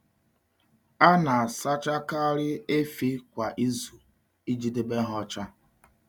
A na-asachakarị efi kwa izu iji debe ha ọcha.